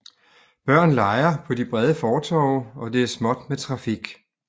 Børn leger på de brede fortove og det er småt med trafik